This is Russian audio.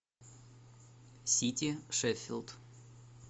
сити шеффилд